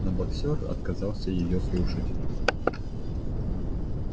но боксёр отказался её слушать